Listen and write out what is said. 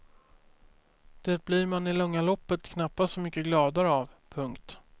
Det blir man i långa loppet knappast så mycket gladare av. punkt